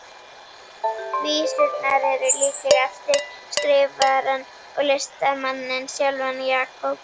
Vísurnar eru líklega eftir skrifarann og listamanninn sjálfan, Jakob